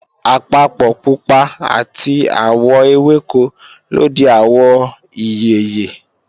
àpapọ̀ pupa àti àwọ̀ ewéko ló di àwọ̀ ìyèyè